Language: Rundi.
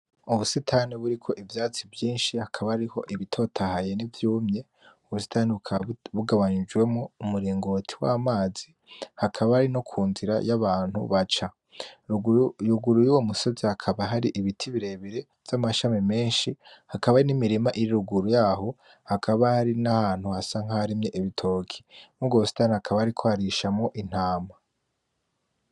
Ubusitani buriko ivyatsi vyinshi, hakaba hariho ibitotaye nivyumye. Ubusitani bukaba ugabanijemwo umuringoti wamazi, hakaba ari nokunzira yabantu baca, ruguru yuyo musozi hakaba hari ibiti birebire vyamashami menshi hakaba nimirima iri ruguru yaho hakaba nahantu hasa nkaharimye ibitoki, murubwo busitani hakaba hariko harishamwo intama.